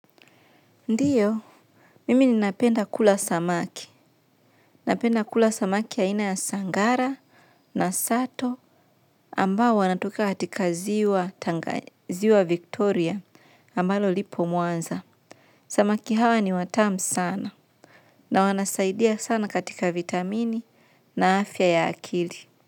Ndio mimi ninapenda kula samaki. Napenda kula samaki ya ina ya sangara na sato ambao wanatoka katika ziwa Victoria ambalo lipo mwanza. Samaki hawa ni watam sana na wanasaidia sana katika vitamini na afya ya akili.